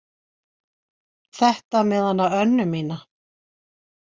Þetta með hana Önnu mína.